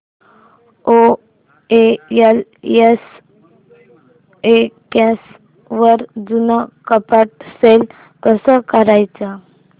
OLX वर जुनं कपाट सेल कसं करायचं